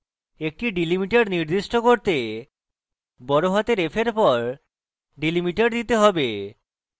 একটি delimiter নির্দিষ্ট করতে বড়হাতের f এর পর delimiter দিতে have